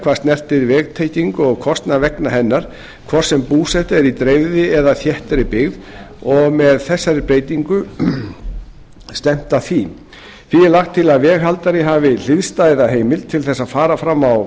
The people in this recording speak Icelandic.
hvað snertir vegtengingu og kostnað vegna hennar hvort sem búseta er í dreifðri eða þéttri byggð og er með þessari breytingu stefnt að því því er lagt til að veghaldari hafi hliðstæða heimild til þess að fara fram á